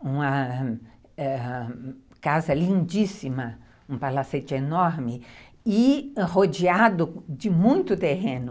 uma ãh casa lindíssima, um palacete enorme e rodeado de muito terreno.